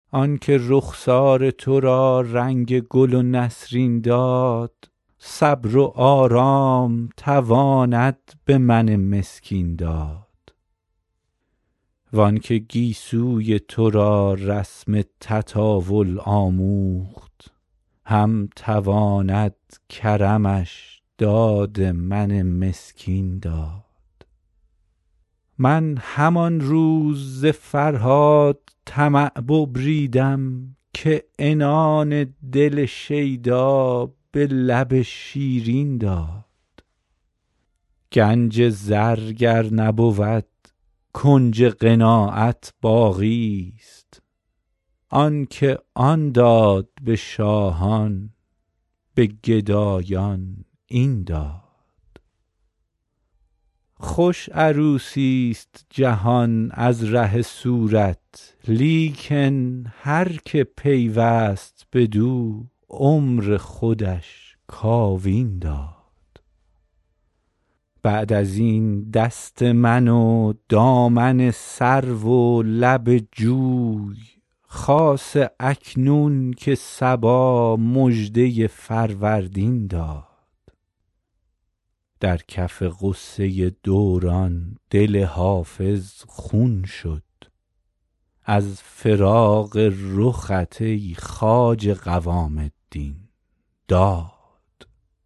آن که رخسار تو را رنگ گل و نسرین داد صبر و آرام تواند به من مسکین داد وان که گیسوی تو را رسم تطاول آموخت هم تواند کرمش داد من غمگین داد من همان روز ز فرهاد طمع ببریدم که عنان دل شیدا به لب شیرین داد گنج زر گر نبود کنج قناعت باقیست آن که آن داد به شاهان به گدایان این داد خوش عروسیست جهان از ره صورت لیکن هر که پیوست بدو عمر خودش کاوین داد بعد از این دست من و دامن سرو و لب جوی خاصه اکنون که صبا مژده فروردین داد در کف غصه دوران دل حافظ خون شد از فراق رخت ای خواجه قوام الدین داد